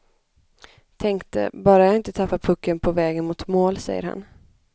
Tänkte, bara jag inte tappar pucken på vägen mot mål, säger han.